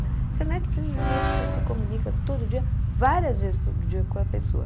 Internet, você se comunica todo dia, várias vezes por dia com a pessoa.